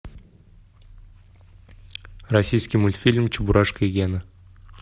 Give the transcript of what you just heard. российский мультфильм чебурашка и гена